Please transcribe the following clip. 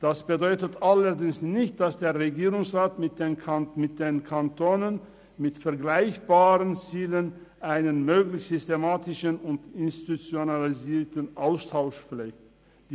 Das bedeutet allerdings nicht, dass der Regierungsrat mit den Kantonen mit vergleichbaren Zielen keinen möglichst systematischen und institutionalisierten Austausch pflegt.